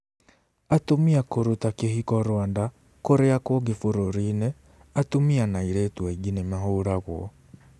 Atumia kũruta kĩhiko Rwanda Kũrĩa kũngĩ bũrũri-inĩ, atumia na airĩtu aingĩ nĩ mahũragwo.